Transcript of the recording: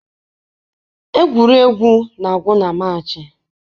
Egwuregwu na-agwụ na March